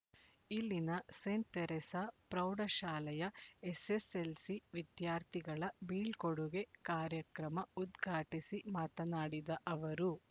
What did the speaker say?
ಇಲ್ಲಿನ saint Teresa ಪ್ರೌಢ ಶಾಲೆಯ ಎಸ್ ಎಸ್ ಎಲ್ ಸಿ ವಿದ್ಯಾರ್ಥಿಗಳ ಬೀಳ್ಕೂಡುಗೆ ಕಾರ್ಯಕ್ರಮ ಉದ್ಘಾಟಿಸಿ ಮಾತನಾಡಿದ ಅವರು